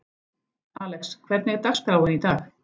Alex, hvernig er dagskráin í dag?